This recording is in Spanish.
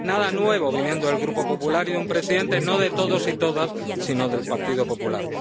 Nada nuevo viniendo del Grupo PPE y de un presidente no de todos y todas sino del Partido Popular.